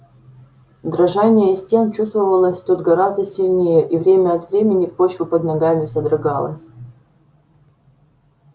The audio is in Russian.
дрожание стен чувствовалось тут гораздо сильнее и время от времени почва под ногами содрогалась